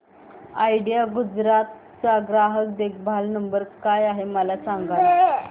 idea Gujarat चा ग्राहक देखभाल नंबर काय आहे मला सांगाना